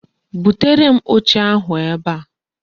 Butere m oche ahu ebe a